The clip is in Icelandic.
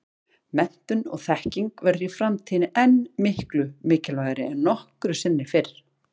Menntun og þekking verður í framtíðinni enn miklu mikilvægari en nokkru sinni fyrr.